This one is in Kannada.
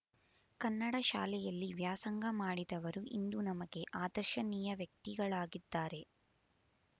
ಕನ್ನಡ ಶಾಲೆಯಲ್ಲಿ ವ್ಯಾಸಂಗ ಮಾಡಿದವರು ಇಂದು ನಮಗೆ ಆದರ್ಶನೀಯ ವ್ಯಕ್ತಿಗಳಾಗಿದ್ದಾರೆ